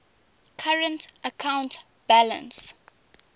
current account balance